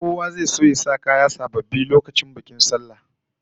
Kowa zai so ya sa kaya sababbi lokacin bikin sallah